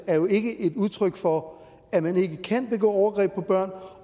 ikke er et udtryk for at man ikke kan begå overgreb på børn og